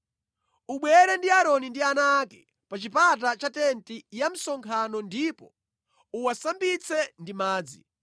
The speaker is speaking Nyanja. “Ubwere ndi Aaroni ndi ana ake pa chipata cha tenti ya msonkhano ndipo uwasambitse ndi madzi.